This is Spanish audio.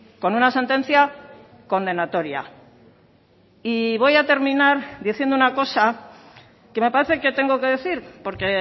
con una sentencia condenatoria y voy a terminar diciendo una cosa que me parece que tengo que decir porque